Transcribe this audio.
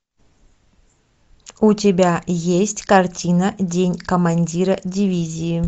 у тебя есть картина день командира дивизии